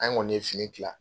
An kɔni ye fini kila.